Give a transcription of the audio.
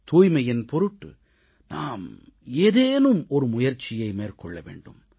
தூய்மையின் பொருட்டு நாம் ஏதேனும் ஒரு முயற்சியை மேற்கொள்ள வேண்டும்